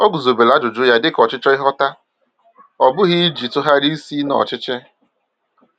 O guzobere ajụjụ ya dị ka ọchịchọ ịghọta, ọ bụghị iji tụgharị isi na ọchịchị.